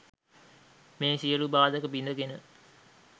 මේ සියලු බාධක බිඳ ගෙන